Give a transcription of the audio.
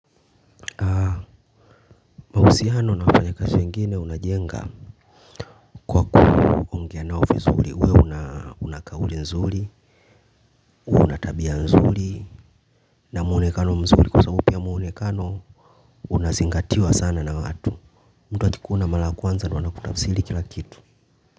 Mahusiano na wafanyikazi wengine unajenga kwa kuongea nao vizuri. Uwe una kauli nzuri, uwe una tabia nzuri, na muonekano mzuri kwa sababu pia muonekano unazingatiwa sana na watu. Mtu akikuona mara ya kwanza ndio anakutafsiri kila kitu.